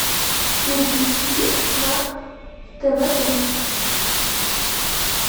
переключи на тв три